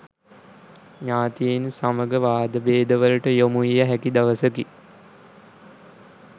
ඥාතීන් සමග වාදභේදවලට යොමුවිය හැකි දවසකි.